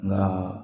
Nka